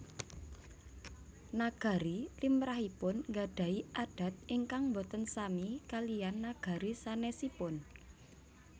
Nagari limrahipun nggadhahi adat ingkang boten sami kaliyan nagari sanèsipun